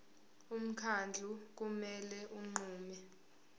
umkhandlu kumele unqume